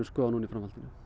skoða núna í framhaldinu